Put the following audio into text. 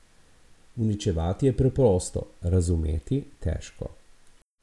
Uničevati je preprosto, razumeti težko.